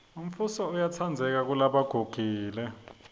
umfuso uyatsandzeka kelebagugile